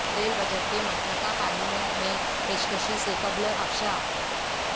rail budget کے متن کا پارلیمنٹ میں پیشکشی سے قبل افشاء